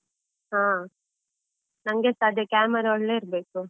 ಹ, ನಂಗೆಸ ಅದೇ camera ಒಳ್ಳೇ ಇರ್ಬೇಕು.